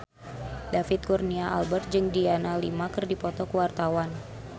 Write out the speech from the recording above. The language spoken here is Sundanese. David Kurnia Albert jeung Adriana Lima keur dipoto ku wartawan